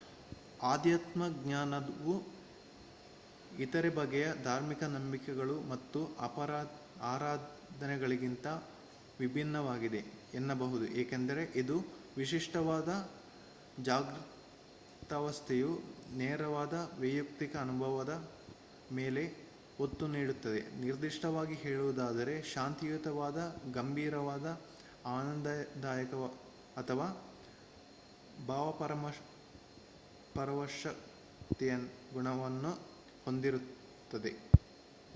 ಆಧ್ಯಾತ್ಮಜ್ಞಾನವು ಇತರೆ ಬಗೆಯ ಧಾರ್ಮಿಕ ನಂಬಿಕೆಗಳು ಮತ್ತು ಆರಾಧನೆಗಳಿಗಿಂತ ವಿಭಿನ್ನವಾಗಿದೆ ಎನ್ನಬಹುದು ಏಕೆಂದರೆ ಇದು ವಿಶಿಷ್ಟವಾದ ಜಾಗೃತಾವಸ್ಥೆಯ ನೇರವಾದ ವೈಯುಕ್ತಿಕ ಅನುಭವದ ಮೇಲೆ ಒತ್ತು ನೀಡುತ್ತದೆ ನಿರ್ದಿಷ್ಟವಾಗಿ ಹೇಳುವುದಾದರೆ ಶಾಂತಿಯುತವಾದ ಗಂಭೀರವಾದ ಆನಂದದಾಯಕ ಅಥವಾ ಭಾವಪರವಶತೆಯ ಗುಣವನ್ನು ಹೊಂದಿರುತ್ತದೆ